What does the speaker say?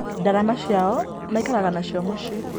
Ndarama ciao maikaraga nacio mũcĩĩ